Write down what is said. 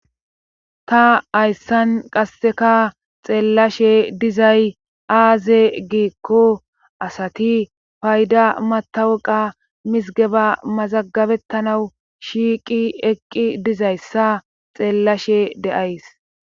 Ta hayssan qasseka xeellashe aaze giikko asati payda mattawaqa misggeba mazaggabettanaw shiiqi eqqi dizayssa xeelashe de7ays